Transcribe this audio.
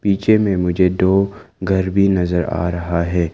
पीछे में मुझे दो घर भी नजर आ रहा है।